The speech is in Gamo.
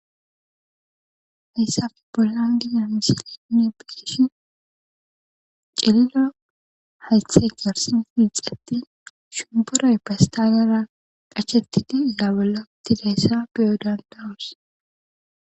hayssafe bolan gina misilenne beeshi cililo haythe garsi fiixetti shumboroy bestaalera qhachetiti dabula tidayssa beyo dandawus